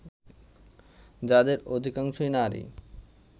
যাদের অধিকাংশই নারী